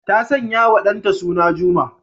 Ta sanyawa ɗanta suna Juma.